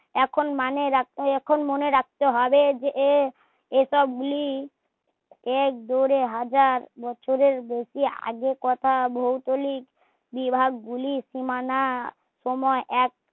এখন মানে রাখতে এখন মনে রাখতে যে এ সব গুলি এক দূরের হাজার বছরের বেশি আগে কথা ভৌগোলিক দিরাপ গুলি সীমানা সময় এক